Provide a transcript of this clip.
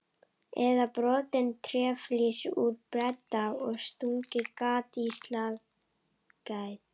Eða brotið tréflís úr beddanum og stungið gat á slagæð?